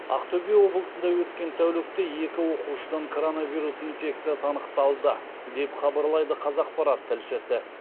ақтөбе облысында өткен тәулікте екі оқушыдан коронавирус инфекциясы анықталды деп хабарлайды қазақпарат тілшісі